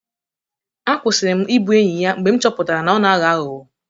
A kwụsịrị m ịbụ enyi ya mgbe m chọpụtara na ọ na-aghọ aghụghọ.